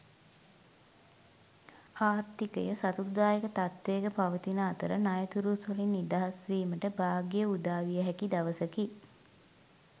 ආර්ථිකය සතුටුදායක තත්ත්වයක පවතින අතර ණයතුරුස්වලින් නිදහස් වීමට භාග්‍ය උදාවිය හැකි දවසකි.